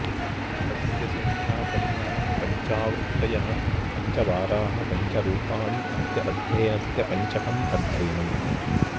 तस्य सङ्ख्यापरिमाणं पञ्चावृत्तयः पञ्चवाराः पञ्च रूपाणि अस्य अध्ययनस्य पञ्चकम् अध्ययनम्